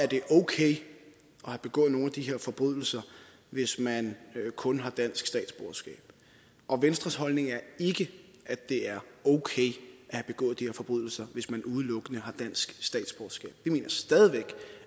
det er okay at have begået nogle af de her forbrydelser hvis man kun har dansk statsborgerskab og venstres holdning er ikke at det er okay at have begået de her forbrydelser hvis man udelukkende har dansk statsborgerskab vi mener stadig væk